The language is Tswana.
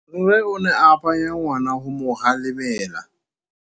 Rre o ne a phanya ngwana go mo galemela.